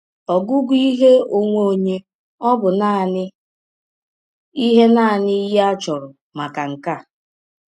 Ọgụgụ ihe ọnwe ọnye ọ̀ bụ nanị ihe nanị ihe a chọrọ maka nke a?